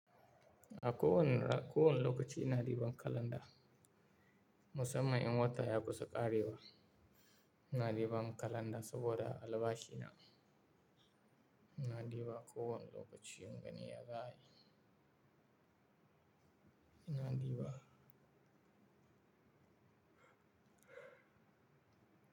A kowani ra-- kowani lokaci ina diban kalanda. Musamman in wata ya kusa ƙarewa, ina diban kalanda saboda albashina. Ina diba kowani lokaci na gani ya za'ayi. Ina diba.